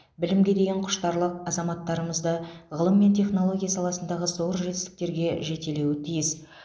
білімге деген құштарлық азаматтарымызды ғылым мен технология саласындағы зор жетістіктерге жетелеуі тиіс